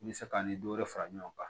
N bɛ se ka nin dɔw wɛrɛ fara ɲɔgɔn kan